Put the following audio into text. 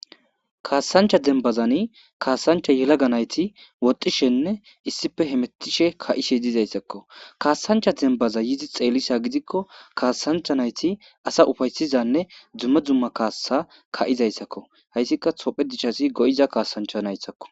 Kaasancha dembazani kaasanchcha yelaga nayti woxxishenne issippe hemetishe ka'ishe dizayssako kaasancha dembaza yiido xeeliza gidikko kaasanchcha naytti asa ufaysizanne dumma dumma kaassa ka'izaysako hayssika tophiya dichassi go'iza kaasanchcha nayttako.